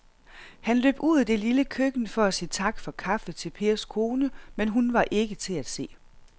Han løb ud i det lille køkken for at sige tak for kaffe til Pers kone, men hun var ikke til at se.